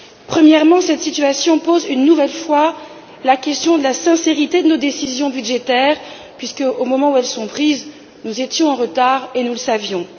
Premièrement, cette situation pose une nouvelle fois la question de la sincérité de nos décisions budgétaires, puisqu'au moment où elles ont été prises, nous étions en retard et nous le savions.